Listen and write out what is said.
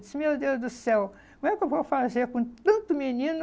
Disse, meu Deus do céu, como é que eu vou fazer com tanto menino